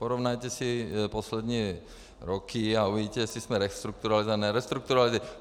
Porovnejte si poslední roky a uvidíte, jestli jsme restrukturalizovali, nebo nerestrukturalizovali.